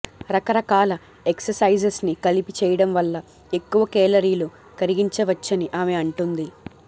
రకరకాల ఎక్సర్సైజెస్ ని కలిపి చేయడం వల్ల ఎక్కువ కేలరీలు కరిగించవచ్చని ఆమె అంటుంది